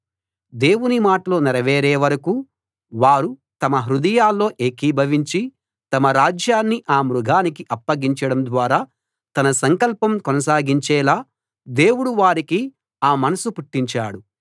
దేవుని మాటలు నెరవేరే వరకూ వారు తమ హృదయాల్లో ఏకీభవించి తమ రాజ్యాన్ని ఆ మృగానికి అప్పగించడం ద్వారా తన సంకల్పం కొనసాగించేలా దేవుడు వారికి ఆ మనసు పుట్టించాడు